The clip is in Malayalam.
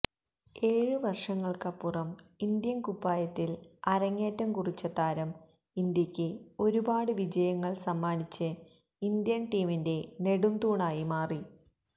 ഏഴ് വർഷങ്ങൾക്കപ്പുറം ഇന്ത്യൻ കുപ്പായത്തിൽ അരങ്ങേറ്റം കുറിച്ച താരം ഇന്ത്യക്ക് ഒരുപാട് വിജയങ്ങൾ സമ്മാനിച്ച് ഇന്ത്യൻ ടീമിന്റെ നെടുംതൂണായി മാറി